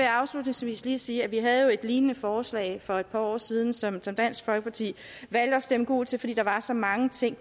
afslutningsvis lige sige at vi jo havde et lignende forslag for et par år siden som dansk folkeparti valgte at stemme gult til fordi der desværre var så mange ting